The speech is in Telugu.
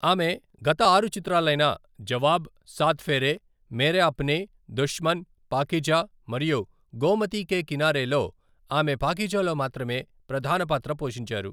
ఆమె గత ఆరు చిత్రాలైన జవాబ్, సాత్ ఫేరే, మేరే అప్నే, దుష్మన్, పాకీజా మరియు గోమతి కే కినారేలో, ఆమె పాకీజా లో మాత్రమే ప్రధాన పాత్ర పోషించారు.